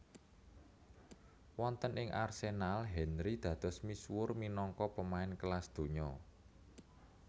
Wonten ing Arsenal Henry dados misuwur minangka pemain kelas donya